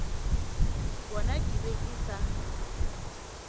bona ke be ke sa